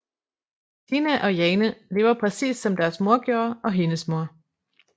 Tine og Jane lever præcis som deres mor gjorde og hendes mor